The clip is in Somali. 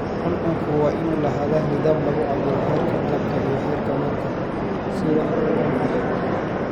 Cuncunku waa inuu lahaadaa nidaam lagu cabbiro heerka malabka iyo heerka manka si wax ku ool ah.